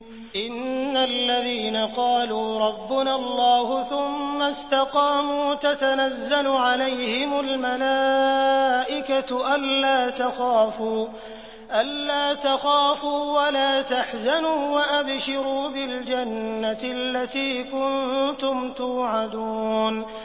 إِنَّ الَّذِينَ قَالُوا رَبُّنَا اللَّهُ ثُمَّ اسْتَقَامُوا تَتَنَزَّلُ عَلَيْهِمُ الْمَلَائِكَةُ أَلَّا تَخَافُوا وَلَا تَحْزَنُوا وَأَبْشِرُوا بِالْجَنَّةِ الَّتِي كُنتُمْ تُوعَدُونَ